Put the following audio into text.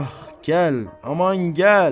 Ax, gəl, aman gəl.